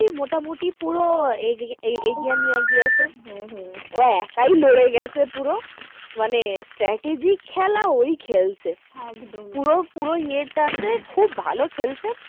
মোটামুটি পুরো এগিয়ে এগিয়ে নিয়ে গিয়েছে হম হম ও একাই লড়ে গেছে পুরো মানে strategy খেলা ওই খেলেছে একদম পুরো পুরো ইয়েটা তে খুব ভালো খেলেছে,